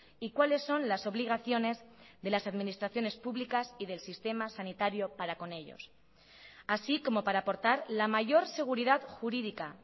y cuáles son las obligaciones de las administraciones publicas y del sistema sanitario para con ellos así como para aportar la mayor seguridad jurídica